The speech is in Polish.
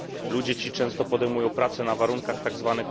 Ludzie ci często podejmują pracę na warunkach tzw.